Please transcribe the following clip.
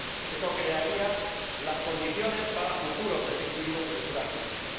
Eso crearía las condiciones para futuros desequilibrios y futuras crisis.